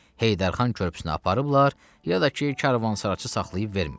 Heydər xan körpüsünə aparıblar, ya da ki, karvansaraçı saxlayıb vermir.